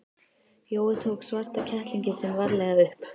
Jói tók svarta kettlinginn sinn varlega upp.